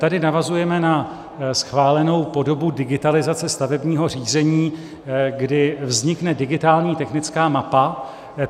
Tady navazujeme na schválenou podobu digitalizace stavebního řízení, kdy vznikne digitální technická mapa.